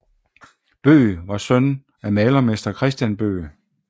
Bøgh var søn af malermester Christian Bøgh